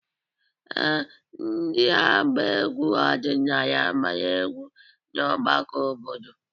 Ee, ndị na-agba egwu ọdịnala agbara egwu na ọgbakọ obodo.